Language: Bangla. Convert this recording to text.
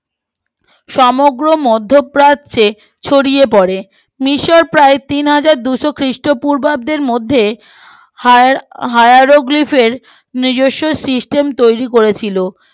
সমগ্র মধ্য প্রাচে ছড়িয়ে পরে মিশর প্রায় তিনহাজার দুশো খ্রীষ্ট পূর্বাব্দের মধ্যে হায় হাওর গ্রিপের নিজস্ব সিস্টেম তৈরী করেছিল